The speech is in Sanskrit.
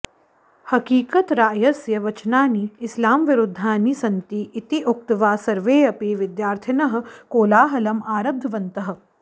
हकीकतरायस्य वचनानि इस्लामविरुद्धानि सन्ति इति उक्त्वा सर्वेऽपि विद्यार्थिनः कोलाहलम् आरब्धवन्तः